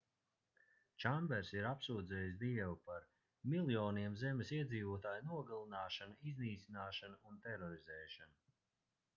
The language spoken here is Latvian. čambers ir apsūdzējis dievu par miljoniem zemes iedzīvotāju nogalināšanu iznīcināšanu un terorizēšanu